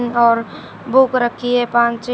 और बुक रखी है पांन छे।